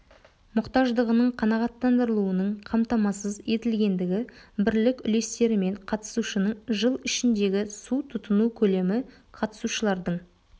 мұқтаждығының қанағаттандырылуының қамтамасыз етілгендігі бірлік үлестерімен қатысушының жыл ішіндегі су тұтыну көлемі қатысушылардың